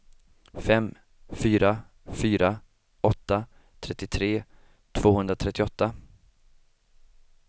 fem fyra fyra åtta trettiotre tvåhundratrettioåtta